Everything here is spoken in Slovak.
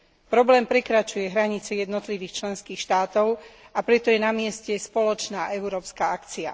Problém prekračuje hranice jednotlivých členských štátov, a preto je na mieste spoločná európska akcia.